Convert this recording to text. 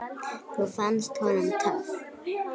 Það fannst honum töff.